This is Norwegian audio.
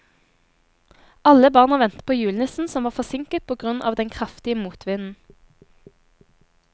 Alle barna ventet på julenissen, som var forsinket på grunn av den kraftige motvinden.